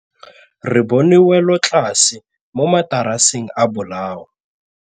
Re bone wêlôtlasê mo mataraseng a bolaô.